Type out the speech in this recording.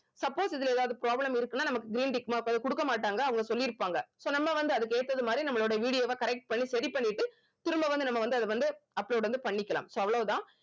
suppose இதுல எதாவது problem இருக்குன்னா நமக்கு green tick mark வந்து குடுக்க மாட்டாங்க அவங்க சொல்லியிருப்பாங்க so நம்ம வந்து அதுக்கு ஏத்தது மாதிரி நம்மளோட video வ correct பண்ணி சரி பண்ணிட்டு திரும்ப வந்து நம்ம வந்து அத வந்து upload வந்து பண்ணிக்கலாம் so அவ்வளவு தான்